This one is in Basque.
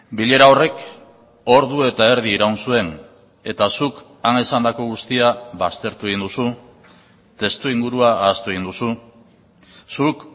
bilera horrek ordu eta erdi iraun zuen eta zuk han esandako guztia baztertu egin duzu testuingurua ahaztu egin duzu zuk